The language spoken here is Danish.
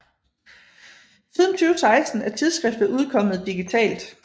Siden 2016 er tidsskriftet udkommet digitalt